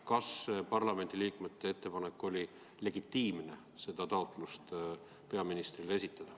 Kas parlamendiliikmete ettepanek peaministrile see ettekanne teha oli legitiimne?